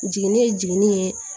Jiginni ye jiginni ye